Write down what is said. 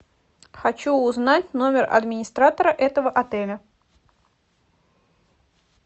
хочу узнать номер администратора этого отеля